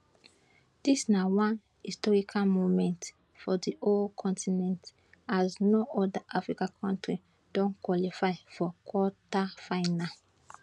dis na one historic moment for di whole continent as no oda africa kontri don qualify for quarter final